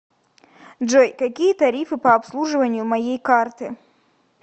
джой какие тарифы по обслуживанию моей карты